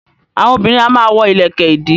Àwọn obìnrin a máa wọ ìlẹ̀kẹ̀ ìdí